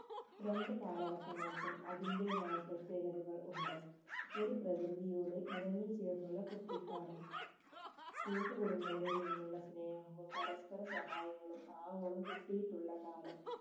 രണ്ട് കാലഘട്ടങ്ങൾക്കും അതിന്റെതായ പ്രതേകതകൾ ഉണ്ട് ഒരു പ്രകൃതിയോട് ഇണങ്ങിചേർന്നുള്ള കുട്ടിക്കാലം കൂട്ടുകുടുംബങ്ങളിൽ നിന്നുള്ള സ്നേഹവും പരസ്‌പര സഹായങ്ങളും ആവോളം കിട്ടിയിട്ടുള്ള കാലം